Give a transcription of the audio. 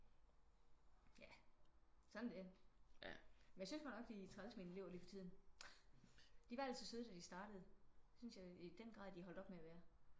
Ja sådan er det men jeg synes godt nok de er trælse mine elever lige for tiden. De var altid søde da de startede det synes jeg i den grad de har holdt op med at være